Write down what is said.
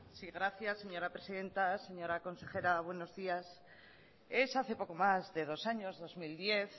sí gracias señora presidenta señora consejera buenos días es hace poco más de dos años dos mil diez